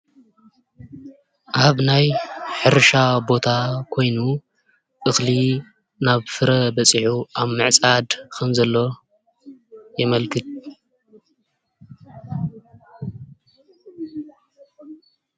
ኣብ ናይ ሕርሻ ቦታ ኮይኑ እኽሊ ናብ ፍረ በፂሑ ኣብ ምዕፃድ ከም ዘሎ የመልክት።